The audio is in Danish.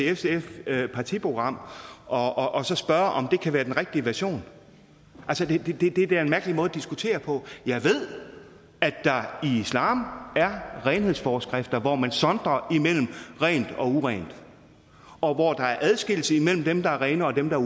sfs partiprogram og så spørge om det kan være den rigtige version det er da en mærkelig måde at diskutere på jeg ved at der i islam er renhedsforskrifter hvor man sondrer mellem rent og urent og hvor der er adskillelse mellem dem der er rene og dem der